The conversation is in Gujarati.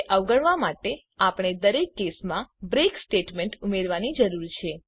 તે અવગણવા માટે આપણે દરેક કેસમાં બ્રેક સ્ટેટમેન્ટ ઉમેરવાની જરૂર છે